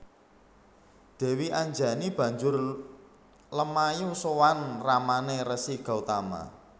Dèwi Anjani banjur lumayu sowan ramané Resi Gotama